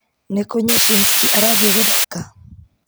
nĩ kũ nyanshinski arathiĩ gũthaka